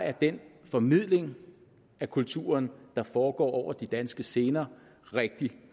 er den formidling af kulturen der foregår over de danske scener rigtig